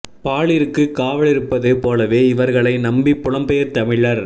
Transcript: பாலிற்கு காவலிருப்ப்து போலவே இவர்களை நம்பி புலம்பெயர் தமிழர்